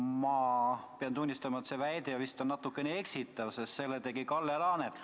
Ma pean tunnistama, et see väide vist on natukene eksitav, sest selle tegi Kalle Laanet.